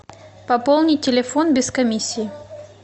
пополни телефон без комиссии